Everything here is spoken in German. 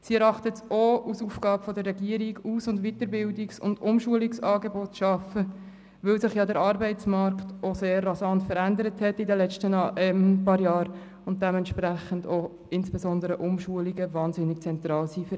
Sie erachtet es auch als Aufgabe der Regierung, Aus-, Weiterbildungs- und Umschulungsangebote zu schaffen, weil sich der Arbeitsmarkt in den letzten paar Jahren ja auch sehr rasant verändert hat und dementsprechend auch insbesondere Umschulungen für ältere Personen wahnsinnig zentral sind.